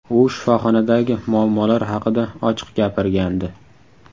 U shifoxonadagi muammolar haqida ochiq gapirgandi .